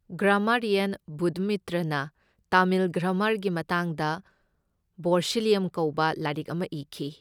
Grammarian ꯕꯨꯙꯃꯤꯇ꯭ꯔꯅ ꯇꯥꯃꯤꯜ ꯒ꯭ꯔꯥꯃꯥꯔꯒꯤ ꯃꯇꯥꯡꯗ ꯚꯣꯔꯁꯤꯂꯤꯌꯝ ꯀꯧꯕ ꯂꯥꯢꯔꯤꯛ ꯑꯃ ꯢꯈꯤ꯫